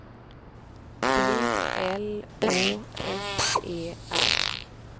B L Å S E R